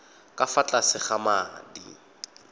ka fa tlase ga madi